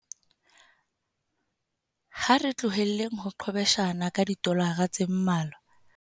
Ha re tlohele ho qhwebeshana ka didolara tse mmalwa.